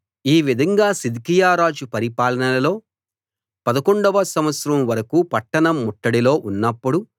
ఈ విధంగా సిద్కియా రాజు పరిపాలనలో 11 వ సంవత్సరం వరకూ పట్టణం ముట్టడిలో ఉన్నప్పుడు